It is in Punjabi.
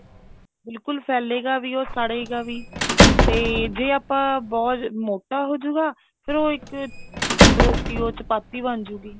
ਬਿਲਕੁਲ ਫੈਲੇਗਾ ਵੀ ਉਹ ਸੜੇਗਾ ਵੀ ਤੇ ਆਪਾਂ ਬਹੁਤ ਮੋਟਾ ਹੋਜੂਗਾ ਫ਼ੇਰ ਉਹ ਇੱਕ ਰੋਟੀ ਓ chapatti ਬਣਜੁਗੀ